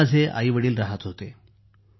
तेथे माझे mummy papa रहात होते